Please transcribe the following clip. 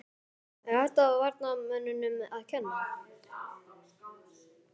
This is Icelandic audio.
Er þetta varnarmönnunum að kenna?